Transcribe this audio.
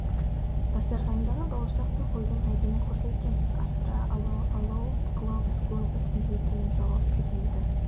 дастарқандағы бауырсақ пен қойдың әдемі құрты екен астра ало алоу глобус глобус неге екенін жауап бермейді